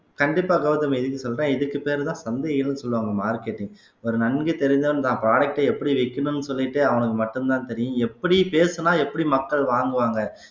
கண்டிப்பா கௌதமி இதுக்கு சொல்றேன் இதுக்கு பேருதான் சந்தைன்னு சொல்லுவாங்க marketing ஒரு ஒரு நன்கு தெரிஞ்சவன் தன் product அ எப்படி விக்கணும்ன்னு சொல்லிட்டு அவனுக்கு மட்டும்தான் தெரியும் எப்படி பேசினா எப்படி மக்கள் வாங்குவாங்க